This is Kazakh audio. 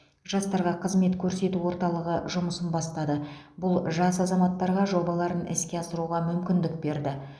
жастарға қызмет көрсету орталығы жұмысын бастады бұл жас азаматтарға жобаларын іске асыруға мүмкіндік берді